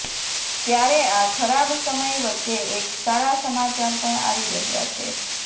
ત્યારે આ ખરાબ સમય વચ્ચે એક સારા સમાચાર પણ આવી રહ્યા છે